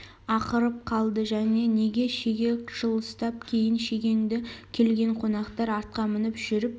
ақырып қалды және шеге жылыстап кейін шегінді келген қонақтар атқа мініп жүріп